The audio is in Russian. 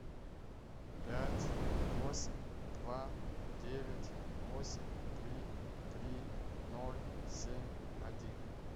пять восемь два девять восемь три три ноль семь один